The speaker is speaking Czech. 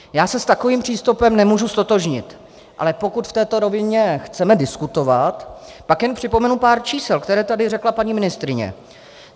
Já se s takovým přístupem nemůžu ztotožnit, ale pokud v této rovině chceme diskutovat, pak jen připomenu pár čísel, které tady řekla paní ministryně.